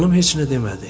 Xanım heç nə demədi.